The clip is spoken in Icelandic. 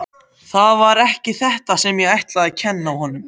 Það var ekki þetta sem ég ætlaði að kenna honum.